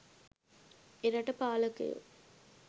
එරට පාලකයෝ